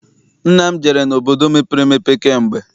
Nna m jere obodo mepere emepe kamgbe.